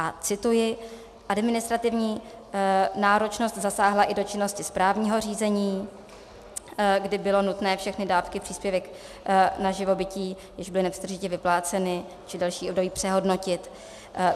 A cituji: Administrativní náročnost zasáhla i do činnosti správního řízení, kdy bylo nutné všechny dávky příspěvek na živobytí, jež byly nepřetržitě vypláceny, či další období přehodnotit.